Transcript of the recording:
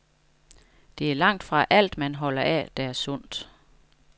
Det er langtfra alt, man holder af, der er sundt.